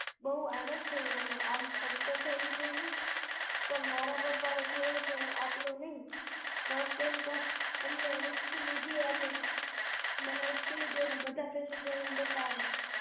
બઉ આનંદ થયો અને આમ ખડકો ખાઈ લીધો પણ મારા પપ્પા ને થયું કે આટલો નહિ bus stand પર એમને ઉચકી લીધી અને મને ઉચકી લીધી અને બધા passenger ને બતાવી